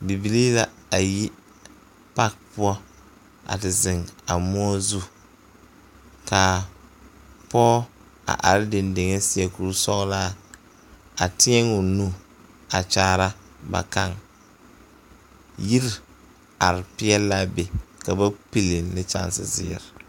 Bibilii la a yi paki poɔ a te zeŋ a moɔ zu ka pɔge a are dendeŋ a seɛ kurisɔglaa a teɛŋ o nu a kyaara ba kaŋ yiri are peɛle l,a be ka ba pili ne kyɛnsezeere.